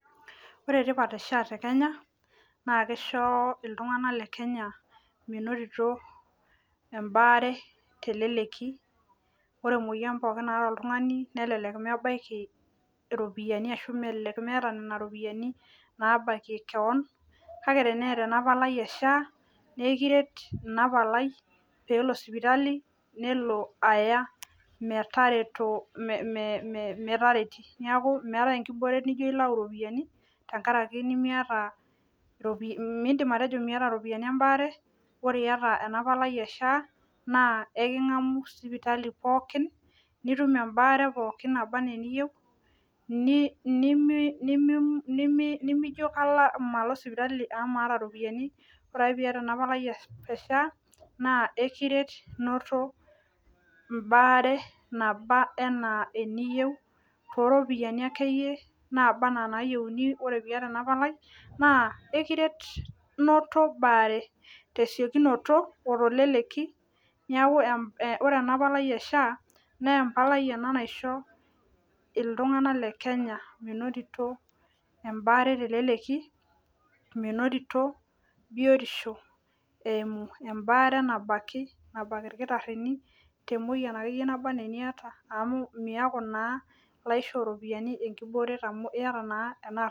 Ore tipat e SHA tekenya naa kisho iltunganak le Kenya menotito embaare teleleki, ore emoyian pookin naata oltungani nelelek mebaiki iropiyiani ashu elelek meeta nena ropiyiani naa bakie kewon kake, tenaata ena palai e SHA naa ekiret ina palai peelo sipitali nelo metareti. Neeku meetai inkibooret naijo ilau iropiyiani, midim atejo miata iropiyiani embaare, ore iyata ena palai e SHA naa ekingamu sipitali pookin netum embaare pookin naba enaa eniyieu, nimijo malo sipitali amu maata iropiyiani, ore piata ena palai e SHA naa ekiret noto embaare naba enaa eniyieu tooropiyiani akeyie naba enaa inayieuni, ore piyata ena palai naa ekiret noto baare tesiokinoto oteleleki. Neeku ore ena palai e SHA naa empalai naisho iltunganak le Kenya menotito embaare teleleki, menotito biotisho eimu embaare nabaki nabak ilkitarini temoyian akeyie naba enaa eniata amu miaku naa laisho oropiyiani amu iyata naa ena ardasi.